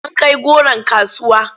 An kai goron kasuwa?